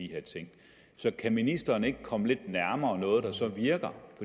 de her ting så kan ministeren ikke komme lidt nærmere noget der så virker